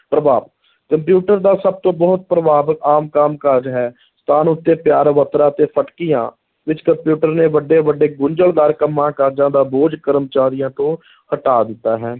ਪ੍ਰਭਾਵ, ਕੰਪਿਊਟਰ ਦਾ ਸਭ ਤੋਂ ਬਹੁਤ ਪ੍ਰਭਾਵ ਆਮ ਕੰਮ ਕਾਜ ਹੈ, ਸਥਾਨ ਉੱਤੇ ਫਟਕੀਆਂ ਵਿੱਚ ਕਪਿਊਟਰ ਨੇ ਵੱਡੇ ਵੱਡੇ ਗੁੰਝਲਦਾਰ ਕੰਮਾਂ ਕਾਜਾਂ ਦਾ ਬੋਝ ਕਰਮਚਾਰੀਆਂ ਤੋਂ ਹਟਾ ਦਿੱਤਾ ਹੈ